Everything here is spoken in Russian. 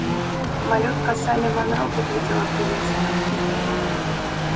малютка салли манро выглядела прелестно